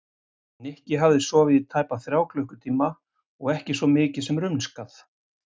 Nikki hafði sofið í tæpa þrjá klukkutíma og ekki svo mikið sem rumskað.